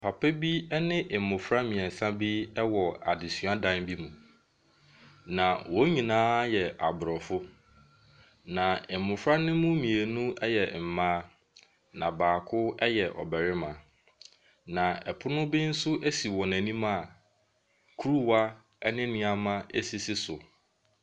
Papa bi ɛne mmɔfra mmiɛnsa bi ɛwɔ adesua dan bi mu. Na wɔn nyinaa ɛyɛ Aborɔfo na mmɔfra no mu mmienu ɛyɛ mmaa na baako ɛyɛ ɔbarimba. Na pono ɛbi nso asi wɔn anim a kuruwa ɛne nneɛma bi asisi so.